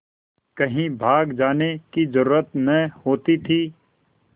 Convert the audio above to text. कहीं भाग जाने की जरुरत न होती थी